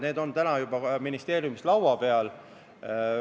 Need on täna juba ministeeriumis arutelu all.